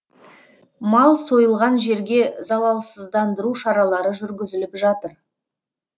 мал сойылған жерге залалсыздандыру шаралары жүргізіліп жатыр